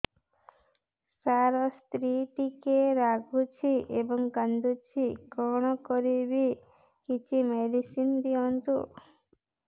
ସାର ସ୍ତ୍ରୀ ଟିକେ ରାଗୁଛି ଏବଂ କାନ୍ଦୁଛି କଣ କରିବି କିଛି ମେଡିସିନ ଦିଅନ୍ତୁ